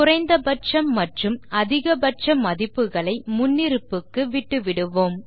குறைந்த பட்சம் மற்றும் அதிக பட்ச மதிப்புகளை முன்னிருப்புக்கு விட்டுவிடுவோம்